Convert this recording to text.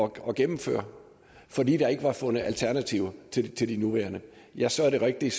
gennemføre fordi der ikke er fundet alternativer til til de nuværende ja så er det rigtigt